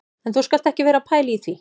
En þú skalt ekki vera að pæla í því